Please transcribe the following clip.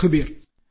Sukhbir